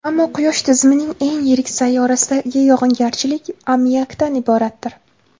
Ammo Quyosh tizimining eng yirik sayyorasidagi yog‘ingarchilik ammiakdan iboratdir.